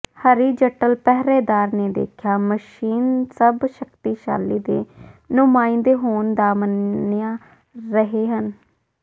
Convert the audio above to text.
horizontal ਪਹਿਰੇਦਾਰ ਨੇ ਦੇਖਿਆ ਮਸ਼ੀਨ ਸਭ ਸ਼ਕਤੀਸ਼ਾਲੀ ਦੇ ਨੁਮਾਇੰਦੇ ਹੋਣ ਦਾ ਮੰਨਿਆ ਰਹੇ ਹਨ